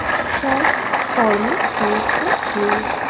সব কর্ম সংস্থা নিম